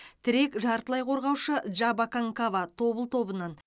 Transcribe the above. тірек жартылай қорғаушы джаба канкава тобыл тобынан